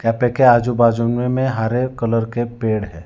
आजू बाजू में हरे कलर के पेड़ है।